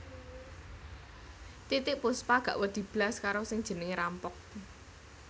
Titiek Puspa gak wedi blas karo sing jenenge rampok